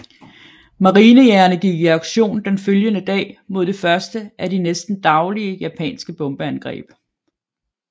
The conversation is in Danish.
Marinejagerne gik i aktion den følgende dag mod det første af de næsten daglige japanske bombeangreb